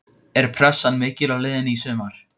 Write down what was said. Er pressan mikil á liðinu í sumar?